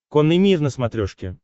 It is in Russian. конный мир на смотрешке